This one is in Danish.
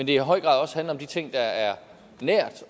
det i høj grad også handler om de ting der er nært